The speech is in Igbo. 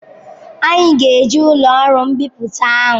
Anyị ga-eji ụlọ ọrụ mbipụta ahụ?